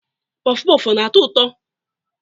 Puff puff ọ na-atọ ụtọ?